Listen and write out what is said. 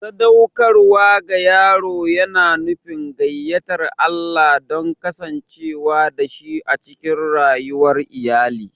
Sadaukarwa ga yaro yana nufin gayyatar Allah don ya kasance dashi a cikin rayuwar iyali.